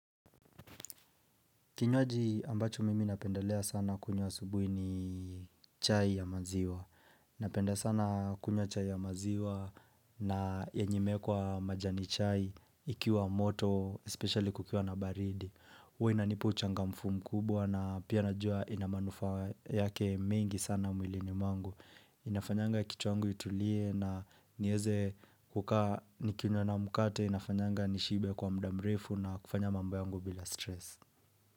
Kinywaji ambacho mimi napendelea sana kunywa asubuhi ni chai ya maziwa. Napenda sana kunywa chai ya maziwa na yenye imewekwa majani chai ikiwa moto, especially kukiwa na baridi. Huwa inanipa uchangamfu mkubwa na pia najua ina manufaa yake mengi sana mwilini mwangu. Inafanyanga kichwa yangu itulie na niweze kukaa nikinywa na mkate, inafanyanga nishibe kwa muda mrefu na kufanya mambo yangu bila stress.